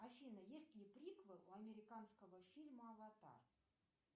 афина есть ли приквел у американского фильма аватар